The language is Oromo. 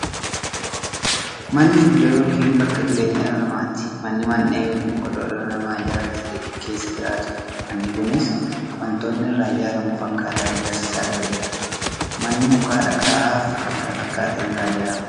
Manni iddoo yookiin bakka jireenya dhala namaati. Manni Mandhee yookiin godoo dhalli namaa ijaaratee keessa jiraatudha. Manni Kunis waantootni irraa ijaaramuufi akkaataan ijaarsa isaa gargari. Manni muka, dhagaafi kan kana fakkaatan irraa ijaarama.